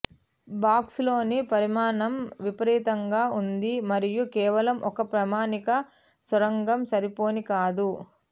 బాక్సులోని పరిమాణం విపరీతంగా ఉంది మరియు కేవలం ఒక ప్రామాణిక సొరంగం సరిపోని కాదు